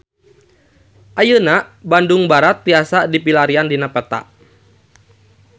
Ayeuna Bandung Barat tiasa dipilarian dina peta